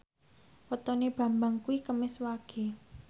wetone Bambang kuwi Kemis Wage